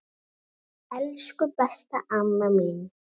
Elsku, besta amma mín.